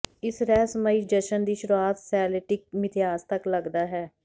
ਇਸ ਰਹੱਸਮਈ ਜਸ਼ਨ ਦੀ ਸ਼ੁਰੂਆਤ ਸੈਲਟਿਕ ਮਿਥਿਹਾਸ ਤੱਕ ਲੱਗਦਾ ਹੈ